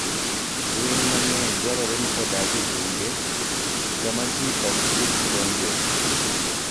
Winy mang'eny dwarore ni odag e bunge kama ji ok sik donjoe.